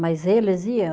Mas eles ia.